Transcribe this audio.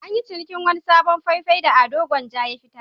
An yi cinikin wani sabon fai-fai da Ado Gwanja ya fiyar.